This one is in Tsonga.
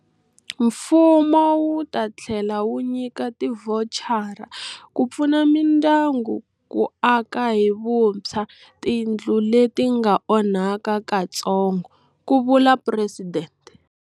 Mfumo wu ta tlhela wu nyika tivhochara ku pfuna mindyangu ku aka hi vuntshwa tindlu leti nga onhaka katsongo, ku vula Presidente.